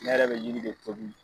Ne yɛrɛ bɛ yiri de tobi.